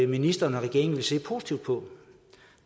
ministeren og regeringen ville se positivt på